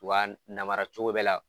U ba narama cogo bɛ la